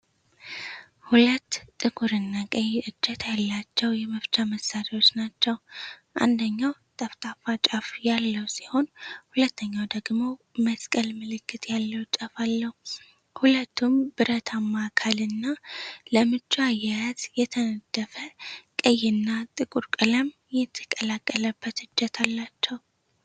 ሁለት ጥቁር እና ቀይ እጀታ ያላቸው የመፍቻ መሳሪያዎች ናቸው። አንደኛው ጠፍጣፋ ጫፍ ያለው ሲሆን ሁለተኛው ደግሞ መስቀል ምልክት ያለው ጫፍ አለው። ሁለቱም ብረትማ አካል እና ለምቹ አያያዝ የተነደፈ ቀይ እና ጥቁር ቀለም የተቀላቀለበት እጀታ አላቸው።